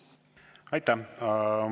Aitäh!